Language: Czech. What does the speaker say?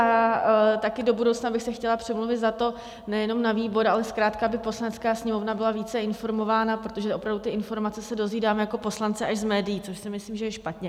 A také do budoucna bych se chtěla přimluvit za to nejenom na výbor, ale zkrátka aby Poslanecká sněmovna byla více informována, protože opravdu ty informace se dozvídáme jako poslanci až z médií, což si myslím, že je špatně.